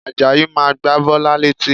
Àjàyí máa gba Bọ́lá létí